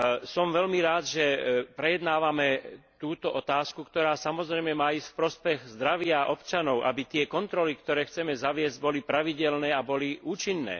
Som veľmi rád, že prejednávame túto otázku, ktorá má ísť v prospech zdravia občanov, aby tie kontroly, ktoré chceme zaviesť, boli pravidelné a boli účinné.